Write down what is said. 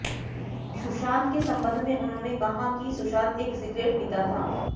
सुशांत के संबंध में उन्होंने कहा कि सुशांत एक सिगरेट पीता था